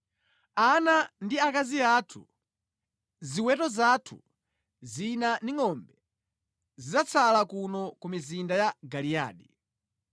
Ana ndi akazi athu, ziweto zathu zina ndi ngʼombe zidzatsala kuno ku mizinda ya Giliyadi,